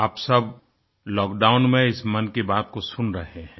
आप सब लॉकडाउन में इस मन की बात को सुन रहे हैं